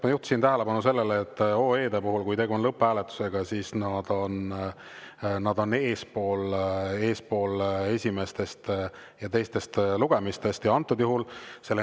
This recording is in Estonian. Ma juhtisin tähelepanu sellele, et OE-de puhul, kui tegu on lõpphääletusega, on need esimestest ja teistest lugemistest eespool.